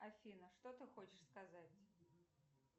афина что ты хочешь сказать